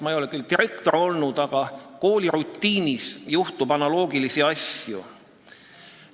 Ma ei ole küll direktor olnud, aga tean, et koolirutiinis juhtub igasuguseid asju.